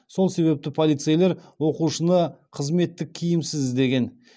сол себепті полицейлер оқушыны қызметтік киімсіз іздеген